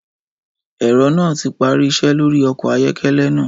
Ẹ̀rọ náà ti parí iṣẹ́ lórí ọkọ̀ ayọ́kẹ́lẹ́ náà.